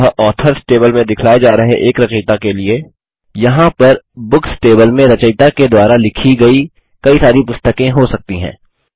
अतः authors table में दिखलाये जा रहे एक रचयिता के लिए यहाँ पर बुक्स टेबल में रचयिता के द्वारा लिखी गयी काई सारी पुस्तकें हो सकती हैं